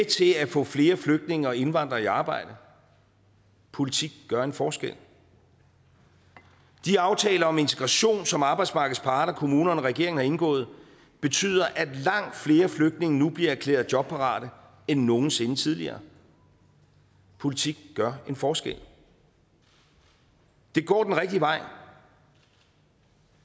til at få flere flygtninge og indvandrere i arbejde politik gør en forskel de aftaler om integration som arbejdsmarkedets parter kommunerne og regeringen har indgået betyder at langt flere flygtninge nu bliver erklæret jobparate end nogen sinde tidligere politik gør en forskel det går den rigtige vej